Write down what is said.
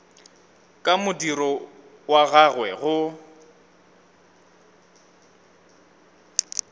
ka modiro wa gagwe go